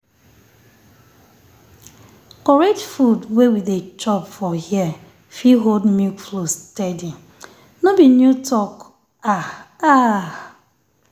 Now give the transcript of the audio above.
correct food wey we dey chop for here fit hold milk flow steady. no be new talk… ah ah.